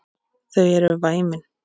Þau eru væmin.